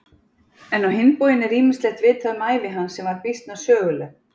En á hinn bóginn er ýmislegt vitað um ævi hans sem var býsna söguleg.